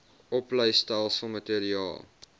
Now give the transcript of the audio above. opleistelsel materiaal